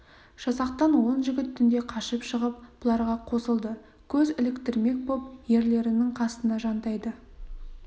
жасақтан он жігіт түнде қашып шығып бұларға қосылды көз іліктірмек боп ерлерінің қасына жантайды